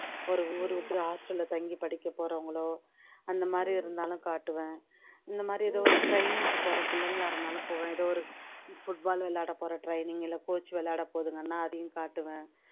ஒரு ஊரு விட்டு hostel லே தங்கி படிக்கபோறவங்களோ அந்தமாதிரி இருந்தாலும் காட்டுவேன் இந்தமாதிரி எதோ ஒரு training க்கு போற பிள்ளைங்களா இருந்தாலும் போவேன் எதோ ஒரு football விளையாட போற training இல்ல coach விளையாட போகுதுங்கன்னா அதையும் காட்டுவேன்